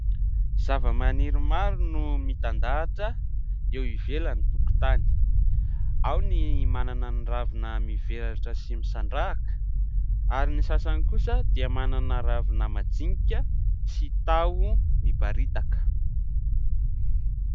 Zavamaniry maro no mitandahatra eo ivelan'ny tokotany : ao ny manana ny ravina mivelatra sy misandrahaka, ary ny sasany kosa dia manana ravina madinika sy taho miparitaka.